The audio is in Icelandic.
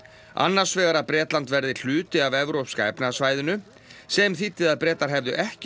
annars vegar að Bretland verði hluti af Evrópska efnahagssvæðinu sem þýddi að Bretar hefðu ekki